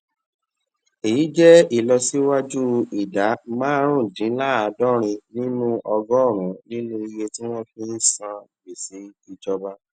èyí jé ìlọsíwájú ìdá márùndínláàádórin nínú ọgọrùnún nínú iye tí wón fi ń san gbèsè ìjọba